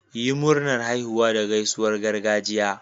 Yi Murnar haihuwa da gaisuwar gargajiya.